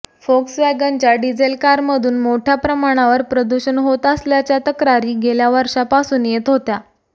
फोक्सवॅगनच्या diesel कारमधून मोठय़ा प्रमाणावर प्रदूषण होत असल्याच्या तक्रारी गेल्या वर्षापासून येत होत्या